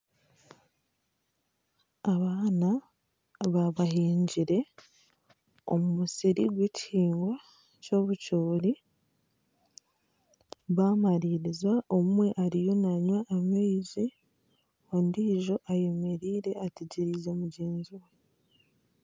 Abaana baaba bahingire omu musiri gw'ekihingwa ky'obucoori bamariira omwe ariyo nanywa amaizi ondijo ayemereire ategyerize mugyenzi we.